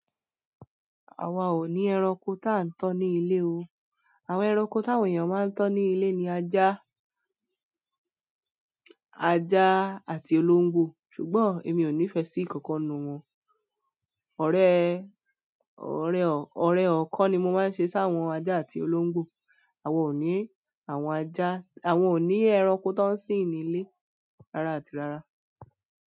Àwa ò ní ẹranko táa ń tọ́ ní ilé o. Àwọn ẹranko táwòn eeyán máa ń tó ní ilé ni aja, aja àti olongbọ́. Ṣùgbọ́n èmi ò nífẹ̀ẹ́ sí ìkankan nu wọn. Ọ̀rẹ́, ọ̀rẹ́, ọ̀rẹ́ ọ̀kan ni mo máa ń ṣe sí àwọn aja àti olóńgbò. Àwa ò ní àwọn aja, àwa ò ní ẹranko tó ń sin ní ilé rárá àti rárá.